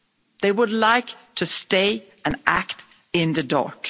They would like to stay and act in the dark.